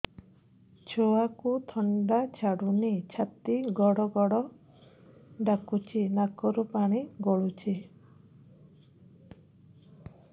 ଛୁଆକୁ ଥଣ୍ଡା ଛାଡୁନି ଛାତି ଗଡ୍ ଗଡ୍ ଡାକୁଚି ନାକରୁ ପାଣି ଗଳୁଚି